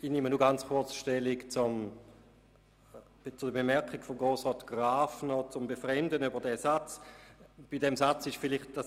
Ich nehme nur ganz kurz Stellung zur Bemerkung von Grossrat Graf, der sein Befremden über den erwähnten Satz ausgedrückt hat.